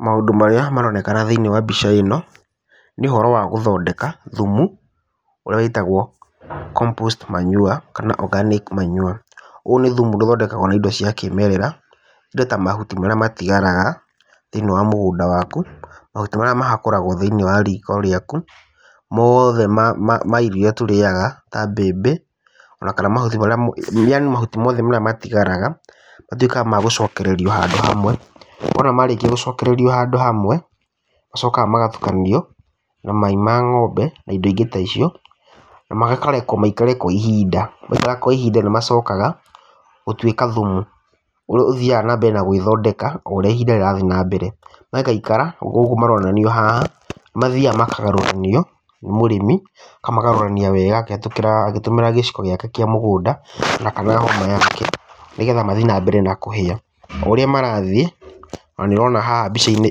Maũndũ marĩa maronekana thĩiniĩ wa mbica ĩno, nĩ ũhoro wa gũthondeka thumu ũrĩa wĩtagwo compost manure kana organic manure. Ũyũ nĩ thumu ũrĩa ũthondekagwo na indo cia kĩmerera indo ta, mahuti marĩa matigaraga thĩiniĩ wa mũgũnda waku, mahuti marĩa mahakũrawo thĩiniĩ wa riko rĩaku, mothe ma irio iria tũrĩyaga ta mbembe kana mahuti, yaani mahuti mothe marĩa matigaraga, matuĩkaga ma gũcokererio handũ hamwe. Wona marĩkia gũcokererio handu hamwe, nĩmacokaga magatukanio na mai ma ng'ombe, na indo ingĩ ta icio na makarekwo maikare kwa ihinda. Maikara kwa ihinda nĩmacokaga gũtuĩka thumu ũrĩa ũthiyaga na mbere na gwĩthondeka o ũrĩa ihinda rĩrathiĩ na mbere. Magaikaikara ta ũguo maronanio haha na nĩmathiyaga makagarũranio nĩ mũrĩmi makagarũranio wega agĩtũmĩra gĩciko gĩake kĩa mũgũnda kana hũma yake, nĩgetha mathiĩ na mbere na kũhĩa. O ũrĩa marathiĩ ona nĩ ũrona haha mbica-inĩ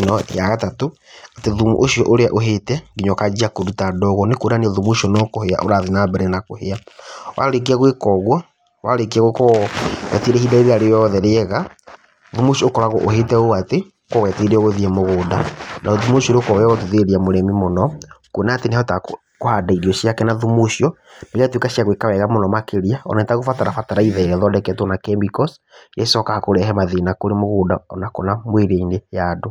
ĩno ya gatatũ, atĩ ũrĩa thumu ũcio ũrĩa ũhĩte nginya ũkanjia kũruta ndogo, kuonania atĩ thumu ũcio no gũthiĩ ũrathiĩ na mbere na kũhĩa. Warĩkia gwĩka ũguo, warĩkia gũkorwo wetereire ihinda rĩrĩa rĩothe rĩega, thumu ũcio ũkoragwo ũhĩte ũũ atĩ ũkoragwo wetereirwo gũthiĩ mũgũnda ,tondũ thumu ũcio nĩũkoragwo wa gũteithĩrĩria mũrĩmi kuona nĩahotaga kũhanda irio ciake na thumu ũcio na igatuka cia gwĩka wega makĩria atagũbatara bataraitha ĩrĩa ĩthondeketwo na chemicals, ĩrĩa ĩcokaga kũrehe mathĩna thĩiniĩ wa mũgũnda, ona kana mwĩrĩ-inĩ wa andũ.